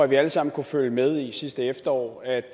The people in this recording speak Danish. vi alle sammen kunne følge med i sidste efterår at